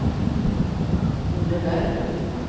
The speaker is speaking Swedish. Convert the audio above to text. Olle Berglund